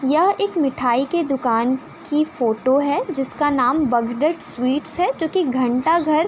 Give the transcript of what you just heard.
यह एक मिठाई के दुकान की फ़ोटो है जिसका नाम बगडेड स्वीट्स है क्योंकि घंटाघर --